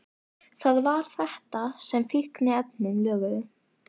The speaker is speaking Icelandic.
Það var þetta sem fíkniefnin löguðu.